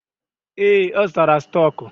Ee, ọ zụtara stọk.